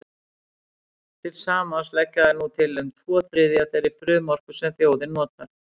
Til samans leggja þær nú til um tvo þriðju af þeirri frumorku sem þjóðin notar.